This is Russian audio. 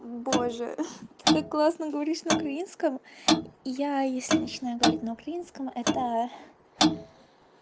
боже ты так классно говоришь на украинском я если начинаю говорить на украинском это